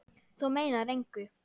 Þú meinar engu!